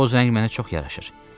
Boz rəng mənə çox yaraşır.